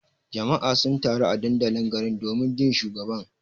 Jama'a sun taru a dandalin garin domin jin shugaban.